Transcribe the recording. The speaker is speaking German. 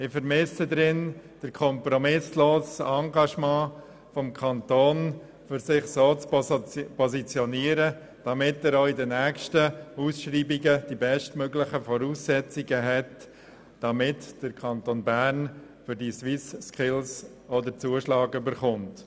Wir vermissen darin das kompromisslose Engagement des Kantons, um sich so zu positionieren, dass er auch bei den nächsten Ausschreibungen die bestmöglichen Voraussetzungen hat, um für die SwissSkills den Zuschlag zu erhalten.